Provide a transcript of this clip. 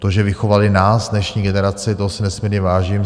To, že vychovali nás, dnešní generaci, toho si nesmírně vážím.